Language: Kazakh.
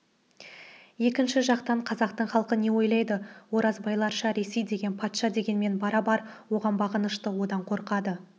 екінші жақтан қазақтың халқы не ойлайды оразбайларша ресей деген патша дегенмен барабар оған бағынышты одан қорқады